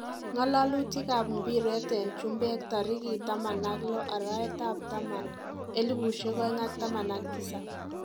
Ngalalutik ab mpiret en chumbek tarikit 16.10.2017